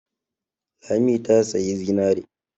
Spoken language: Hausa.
Lami ta sayi zinare.